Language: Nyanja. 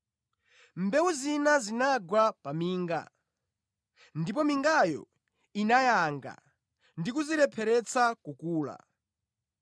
Mbewu zina zinagwa pa minga, ndipo mingayo inayanga ndi kuzirepheretsa kukula.